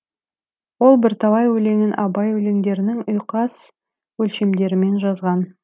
ол бірталай өлеңін абай өлеңдерінің ұйқас өлшемдерімен жазған